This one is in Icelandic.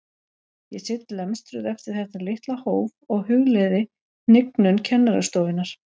Ég sit lemstruð eftir þetta litla hóf og hugleiði hnignun kennarastofunnar.